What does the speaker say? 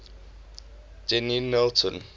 dennilton